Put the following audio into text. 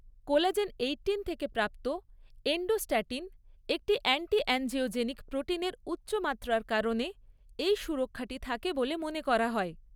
Collagen eighteen থেকে প্রাপ্ত endostatin, একটি অ্যান্টি অ্যাঞ্জিওজেনিক প্রোটিনের উচ্চ মাত্রার কারণে এই সুরক্ষাটি থাকে বলে মনে করা হয়।